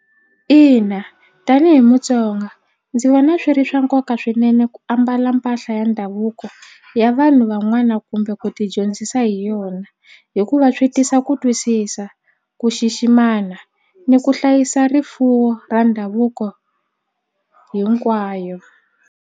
Ina tanihi Mutsonga ndzi vona swi ri swa nkoka swinene ku ambala mpahla ya ndhavuko ya vanhu van'wana kumbe ku tidyondzisa hi yona hikuva swi tisa ku twisisa ku xiximana ni ku hlayisa rifuwo ra ndhavuko hinkwayo.